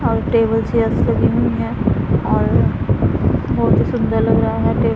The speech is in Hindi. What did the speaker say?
और टेबल चेयर्स लगी हुई हैं और बहोत ही सुंदर लग रहा है टेबल --